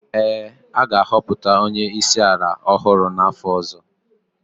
ee, a ga-ahọpụta onye isi ala ọhụrụ n’afọ ọzọ